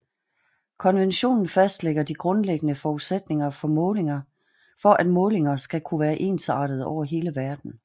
Konventionen fastlægger de grundlæggende forudsætninger for at målinger skal kunne være ensartede over hele verden